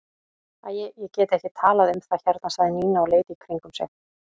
Æ, ég get ekki talað um það hérna sagði Nína og leit í kringum sig.